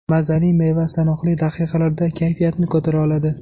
Mazali meva sanoqli daqiqalarda kayfiyatni ko‘tara oladi.